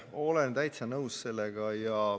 Olen täitsa nõus sellega.